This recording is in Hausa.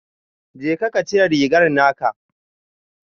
Jeka ka cire rigar naka